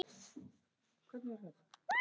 Þetta hefur breyst mikið.